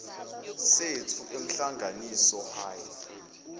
sethu emhlanganiso high